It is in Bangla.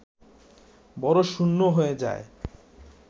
বড় শূন্য হয়ে যায়